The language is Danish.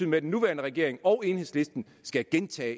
med at den nuværende regering og enhedslisten skal gentage